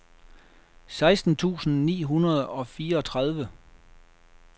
seksten tusind ni hundrede og fireogtredive